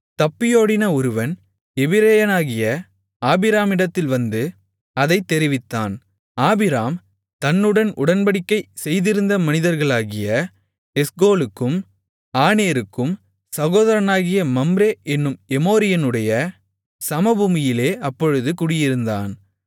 தப்பியோடின ஒருவன் எபிரெயனாகிய ஆபிராமிடத்தில் வந்து அதைத் தெரிவித்தான் ஆபிராம் தன்னுடன் உடன்படிக்கை செய்திருந்த மனிதர்களாகிய எஸ்கோலுக்கும் ஆநேருக்கும் சகோதரனாகிய மம்ரே என்னும் எமோரியனுடைய சமபூமியிலே அப்பொழுது குடியிருந்தான்